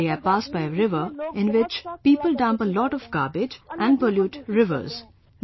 Every day I pass by a river, in which people dump a lot of garbage and pollute rivers